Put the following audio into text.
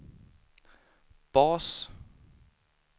bas